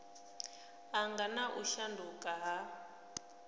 angana na u shanduka ha